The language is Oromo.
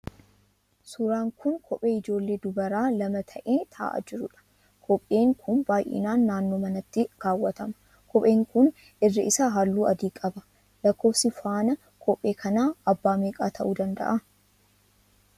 Suuraan kun kophee ijoollee dubaraa lama ta'ee ta'aa jiruudha. kopheen kun baayyinaan naannoo manaatti kaawwatama. Kopheen kun irri isaa halluu adii qaba. Lakkoofsi faana kophee kanaa abbaa meeqaa ta'uu danda'aa?